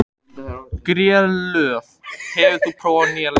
Grélöð, hefur þú prófað nýja leikinn?